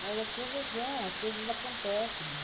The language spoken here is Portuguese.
Mas as coisas vão, as coisas acontecem.